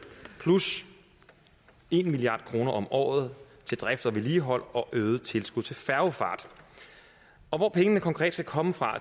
plus en milliard kroner om året til drift og vedligehold og øget tilskud til færgefart og hvor pengene konkret skal komme fra